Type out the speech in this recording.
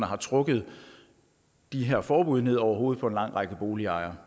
har trukket de her forbud ned over hovedet på en lang række boligejere